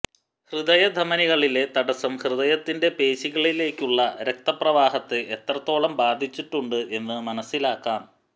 ഹൃദയ ധമനികളിലെ തടസം ഹൃദയത്തിന്റെ പേശികളിലേക്കുള്ള രക്ത പ്രവാഹത്തെ എത്രത്തോളം ബാധിച്ചിട്ടുണ്ട് എന്ന് മനസിലാക്കാം